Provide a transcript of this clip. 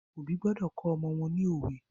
Òbí gbọdọ̀ kọ́ ọmọ wọ́n ni òwe.